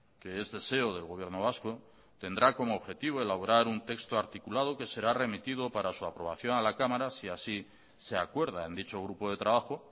que es deseo del gobierno vasco tendrá como objetivo elaborar un texto articulado que será remitido para su aprobación a la cámara si así se acuerda en dicho grupo de trabajo